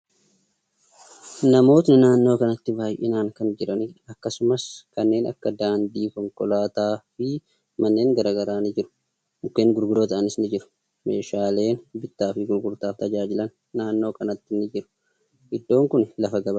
Namootni naannoo kanatti baay'inaan kan jiraniidha. Akkasumas, kanneen akka daandii, konkolaataa fi manneen garagaraa ni jiru. Mukkeen gurguddoo ta'anis ni jiru. Meeshaaleen bittaa fi gurgurtaaf tajaajilan naannoo kanatti ni jiru. Iddoon kuni lafa gabaati.